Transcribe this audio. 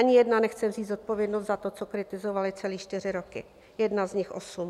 Ani jedna nechce vzít zodpovědnost za to, co kritizovaly celé čtyři roky, jedna z nich osm.